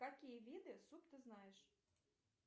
какие виды суп ты знаешь